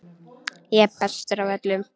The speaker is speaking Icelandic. Ég er bestur af öllum!